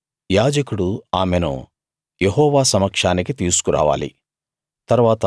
యాజకుడు ఆమెను యెహోవా సమక్షానికి తీసుకురావాలి